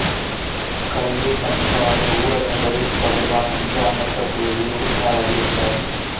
கல்வி பண்பாடு ஊடகங்கள் தொடர்பான இந்திய அமெரிக்கக் குழுவில் உறுப்பினராக இருந்தார்